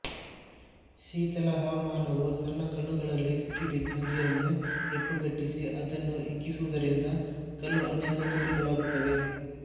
ಶೀತಲ ಹವಾಮಾನವು ಸಣ್ಣಕಲ್ಲುಗಳಲ್ಲಿ ಸಿಕ್ಕಿಬಿದ್ದ ನೀರನ್ನು ಹೆಪ್ಪುಗಟ್ಟಿಸಿ ಅದನ್ನು ಹಿಗ್ಗಿಸುವುದರಿಂದ ಕಲ್ಲು ಅನೇಕ ಚೂರುಗಳಾಗುತ್ತವೆ